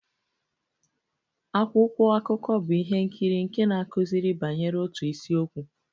Akwụkwọ akụkọ bụ ihe nkiri nke na-akụziri banyere otu isiokwu.